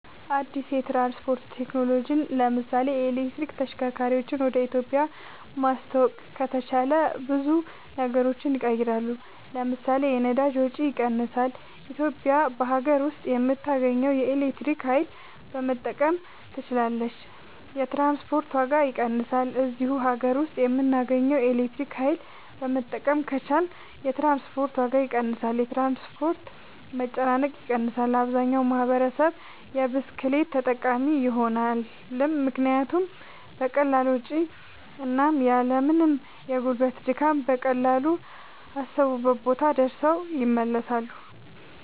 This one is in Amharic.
አድስ የትራንስፖርት ቴክኖሎጅን ለምሳሌ የኤሌክትሪክ ተሽከርካርወችን ወደ ኢትዮጵያ ማስተዋወቅ ከተቻለ ብዙ ነገሮች ይቀየራሉ ለምሳሌ 1 የነዳጅ ወጭ ይቀንሳል ኢትዮጵያ በሀገር ውስጥ በምታገኘው የኤሌክትሪክ ኃይል መጠቀም ትችላለች 2 የትራንስፖርት ዋጋ ይቀንሳል እዚሁ ሀገር ውስጥ በምናገኘው ኤሌክትሪክ ኃይል መጠቀም ከቻልን የትራንስፖርት ዋጋ ይቀንሳል 3 የትራንስፖርት መጨናነቅ ይቀንሳል አብዛኛው ማህበረሰብ የብስክሌት ተጠቃሚ ይሆናልምክንያቱም በቀላል ወጭ እና ያልምንም የጉልበት ድካም በቀላሉ አሰቡበት ቦታ ደርሰው ይመለሳሉ